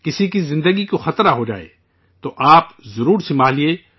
کسی کی زندگی کو خطرہ ہو جائے، تو آپ ضرور سنبھالیے